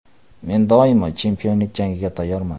Men doimo chempionlik jangiga tayyorman.